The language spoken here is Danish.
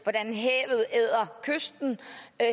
hvordan havet æder kysten